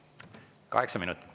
Kaheksa minutit.